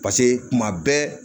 pase kuma bɛɛ